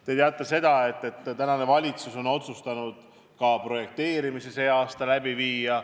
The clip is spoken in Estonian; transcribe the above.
Te teate, et tänane valitsus on otsustanud ka projekteerimise sel aastal läbi viia.